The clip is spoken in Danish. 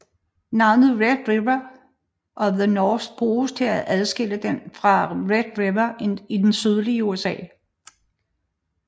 Navnet Red River of the North bruges for at adskille den fra Red River i det sydlige USA